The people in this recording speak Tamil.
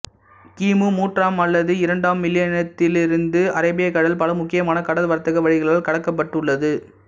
கிமு மூன்றாம் அல்லது இரண்டாம் மில்லினியத்திலிருந்து அரேபிய கடல் பல முக்கியமான கடல் வர்த்தக வழிகளால் கடக்கப்பட்டுள்ளது